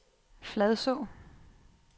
Fladså